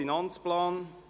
Wir kommen zum AFP.